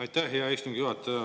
Aitäh, hea istungi juhataja!